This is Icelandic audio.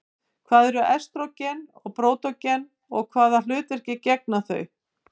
Hvað eru estrógen og prógesterón og hvaða hlutverki gegna þau?